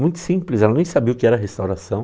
Muito simples, ela nem sabia o que era restauração.